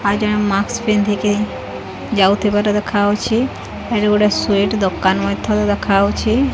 ଆଉ ଜଣେ ମାଷ୍କ୍ ପିନ୍ଧିକି ଯାଉଥିବାର ଦେଖାଯାଉଛି। ଏଠି ଗୋଟେ ସ୍ଵୀଟ ଦୋକାନ ମଧ୍ୟ ଦେଖାଯାଉଛି।